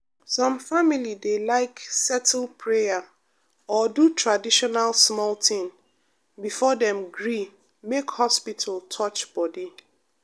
some family dey like settle prayer or do traditional small thing before dem gree make hospital touch body.